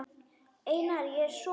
Einar, ég er sonur.